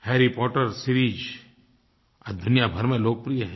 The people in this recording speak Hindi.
हैरी पॉटर सीरीज आज दुनिया भर में लोकप्रिय है